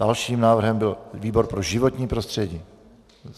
Dalším návrhem byl výbor pro životní prostředí.